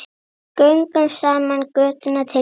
Göngum saman götuna til góðs.